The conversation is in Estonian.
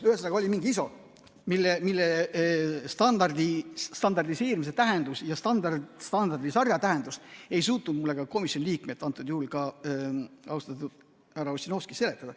Ühesõnaga, oli mingi ISO, mille standardiseerimise tähendust ja standardisarja tähendust ei suutnud mulle ka komisjoni liikmed, antud juhul ka austatud härra Ossinovski seletada.